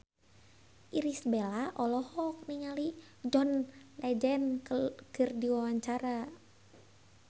Irish Bella olohok ningali John Legend keur diwawancara